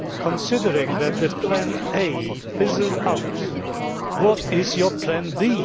Considering that plan A fizzled out, what is your plan B?